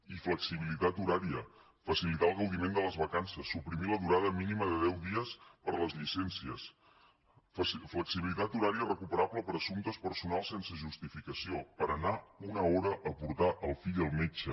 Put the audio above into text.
i flexibilitat horària facilitar el gaudiment de les vacances suprimir la durada mínima de deu dies per a les llicències flexibilitat horària recuperable per a assumptes personals sense justificació per anar una hora a portar el fill al metge